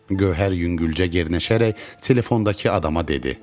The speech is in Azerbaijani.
Gövhər yüngülcə gərnəşərək telefondakı adama dedi.